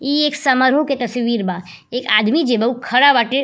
इ एक समारोह के तस्वीर बा। एक आदमी जे बा उ खड़ा बाटे।